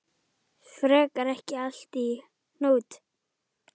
Fer ekki allt í hnút?